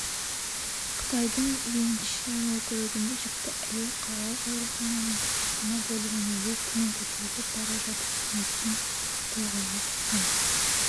қытайдың вэньшан округінде жүкті әйел қалалық аурухананың перзентхана бөліміне лифтімен көтеріліп бара жатып кенеттен толғағы қысқан